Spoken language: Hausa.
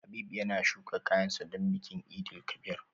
Habib yana shuka kayan sa don bikin Eid El Kabir